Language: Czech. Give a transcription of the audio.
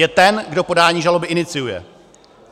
Je ten, kdo podání žaloby iniciuje.